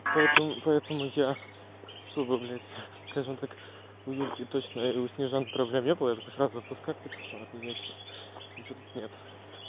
поэтому поэтому я чтобы блять скажем так у юльки точно или у снежаны проблем не было я такой сразу отпускать типа всё не я типа ничего тут нет